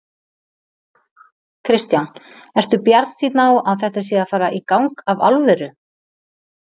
Kristján: Ertu bjartsýnn á að þetta sé að fara í gang af alvöru?